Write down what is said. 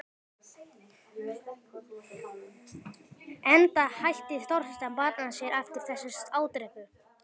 Enda hætti Þorsteinn að barma sér eftir þessa ádrepu.